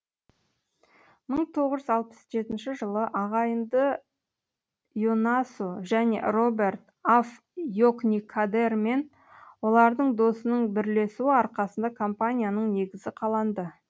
мың тоғыз жүз алпыс жетінші жылы ағайынды йонасо және роберт аф йокникадермен олардың досының бірлесуі арқасында компанияның негізі қаланды